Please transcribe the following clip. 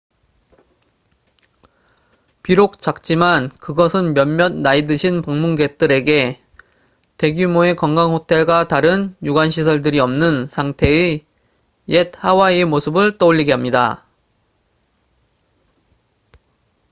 비록 작지만 그것은 몇몇 나이 드신 방문객들에게 대규모의 관광호텔과 다른 유관 시설들이 없는 상태의 옛 하와이의 모습을 떠올리게 합니다